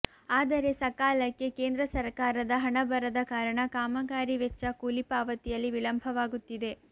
ಆದರೆ ಸಕಾಲಕ್ಕೆ ಕೇಂದ್ರ ಸರಕಾರದ ಹಣ ಬರದ ಕಾರಣ ಕಾಮಗಾರಿ ವೆಚ್ಚ ಕೂಲಿ ಪಾವತಿಯಲ್ಲಿ ವಿಳಂಭವಾಗುತ್ತಿದೆ